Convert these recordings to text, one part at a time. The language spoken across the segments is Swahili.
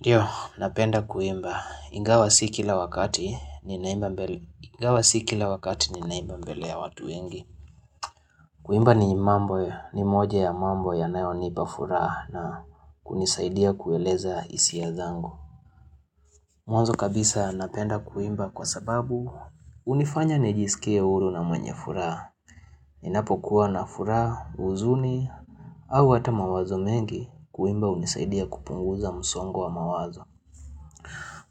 Ndiyo, napenda kuimba ingawa si kila wakati ninaimba mbele Ingawa si kila wakati ni naimba mbele ya watu wengi. Kuimba ni mambo, ni moja ya mambo yanayonipa furaha na kunisaidia kueleza isia zangu. Mwazo kabisa napenda kuimba kwa sababu unifanya nijisikie huru na mwenye furaha. Ninapo kuwa na furaha uzuni au hata mawazo mengi kuimba unisaidia kupunguza msongo wa mawazo.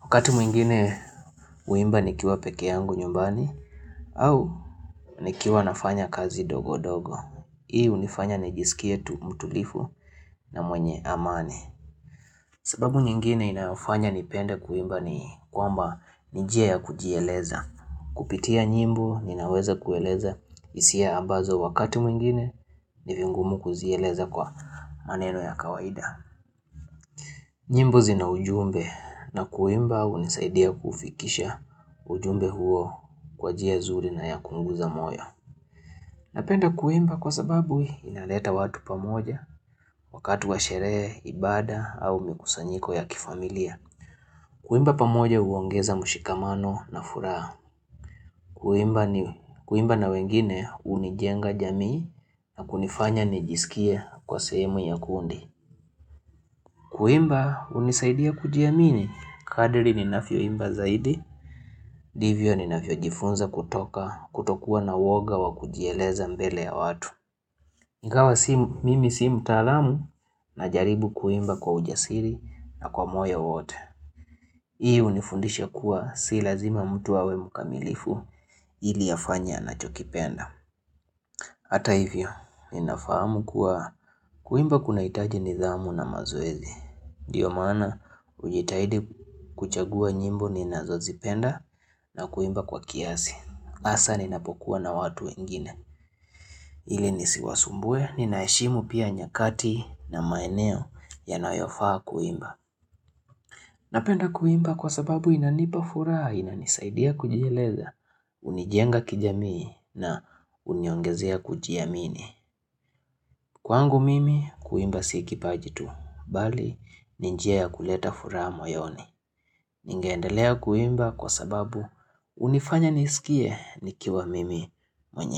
Wakati mwingine uimba nikiwa peke yangu nyumbani au nikiwa nafanya kazi dogo dogo. Hii unifanya nijisikietu mtulifu na mwenye amani. Sababu nyingine inayofanya nipende kuimba ni kwamba nijia ya kujieleza. Kupitia nyimbo ninaweza kueleza isia ambazo wakati mwingine nivingumu kuzieleza kwa maneno ya kawaida. Nyimbo zina ujumbe na kuimba unisaidia kufikisha ujumbe huo kwa jia zuri na ya kungu za moyo. Napenda kuimba kwa sababu inaleta watu pamoja wakati wa sherehe, ibada au mikusanyiko ya kifamilia. Kuimba pamoja uongeza mushikamano na furaha. Kuimba na wengine unijenga jamii na kunifanya nijisikie kwa sehemu ya kundi. Kuimba unisaidia kujiamini, kadiri ninafyo imba zaidi, divyo ninafyo jifunza kutoka, kutokua na woga wa kujieleza mbele ya watu. Ingawa mimi simu mtaalamu na jaribu kuimba kwa ujasiri na kwa moyo wote. Hii unifundisha kuwa si lazima mtu awe mkamilifu iliafanye anachokipenda. Hata hivyo, ninafahamu kuwa kuimba kuna itaji nidhamu na mazoezi. Diyo mana, ujitahidi kuchagua nyimbo ni nazozipenda na kuimba kwa kiasi. Asa, ninapokuwa na watu wengine. Ile nisiwasumbwe, ninaheshimu pia nyakati na maeneo ya nayofaa kuimba. Napenda kuimba kwa sababu inanipafuraha, inanisaidia kujieleza, unijenga kijamii na uniongezea kujiamini. Kwangu mimi kuimba si kipaji tuh, bali ninjia ya kuleta furaha moyoni. Ningeendelea kuimba kwa sababu unifanya nisikie nikiwa mimi mwenye.